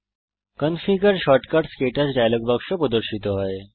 configure shortcuts ক্টাচ dialogue বাক্স প্রদর্শিত হয়